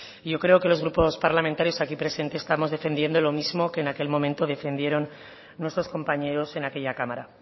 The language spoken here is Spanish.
yo creo que los grupos parlamentarios aquí presentes estamos defendiendo lo mismo que en aquel momento defendieron nuestros compañeros en aquella cámara